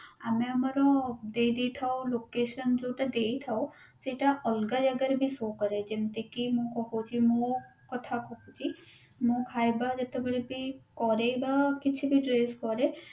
ଆମ ଆମର ଦେଇ ଦେଉଥାଉ location ଯୋଉଟା ଦେଇଥାଉ ସେଟା ଅଲଗା ଜାଗାରେ ବି show କରେ ଯେମତି କି ମୁଁ ପକୋଉଛି ମୁଁ କଥା କହୁଛି ମୁଁ ଖାଇବା ଯେତେବେଳେ ବି କରେ ବା କିଛି ବା dress କରେ